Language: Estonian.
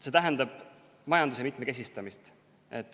See tähendab majanduse mitmekesistamist.